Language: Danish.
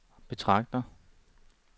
betragter